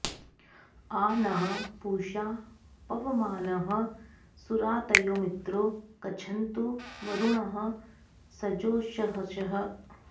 आ नः पूषा पवमानः सुरातयो मित्रो गच्छन्तु वरुणः सजोषसः